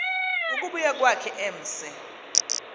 ukubuya kwakhe emse